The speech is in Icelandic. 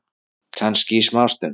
Kannski í smástund.